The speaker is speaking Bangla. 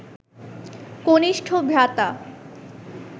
কনিষ্ঠ ভ্রাতা